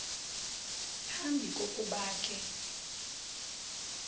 phambi kokuba ke